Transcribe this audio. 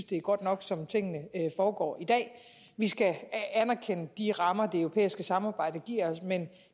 det er godt nok som tingene foregår i dag vi skal anerkende de rammer det europæiske samarbejde giver os men